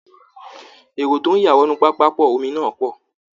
Èrò tó ń ya wọnú pápákọ omi náà pọ̀